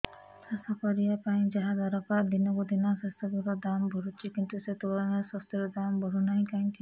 ଚାଷ କରିବା ପାଇଁ ଯାହା ଦରକାର ଦିନକୁ ଦିନ ସେସବୁ ର ଦାମ୍ ବଢୁଛି କିନ୍ତୁ ସେ ତୁଳନାରେ ଶସ୍ୟର ଦାମ୍ ବଢୁନାହିଁ କାହିଁକି